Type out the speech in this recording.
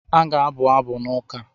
A ga-abụ abụ n’ụka.